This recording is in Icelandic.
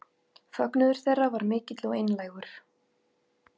Fögnuður þeirra var mikill og einlægur